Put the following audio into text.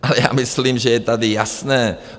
Ale já myslím, že je tady jasné.